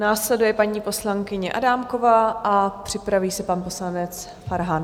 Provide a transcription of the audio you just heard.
Následuje paní poslankyně Adámková a připraví se pan poslanec Farhan.